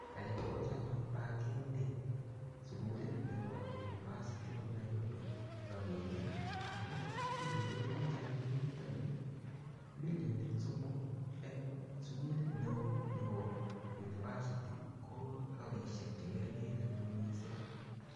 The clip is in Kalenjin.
Kaigochi anyun bankini sugulit nebo University Of Nairobi ropinik ago kiy ne mile biich eng yun yu ko milionit somok eng sugulit neo nebo university ko ropisiek che ngeringen anyun mising.